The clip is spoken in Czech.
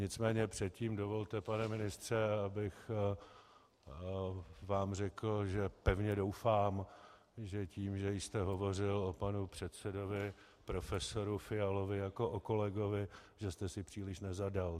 Nicméně předtím dovolte, pane ministře, abych vám řekl, že pevně doufám, že tím, že jste hovořil o panu předsedovi profesoru Fialovi jako o kolegovi, že jste si příliš nezadal.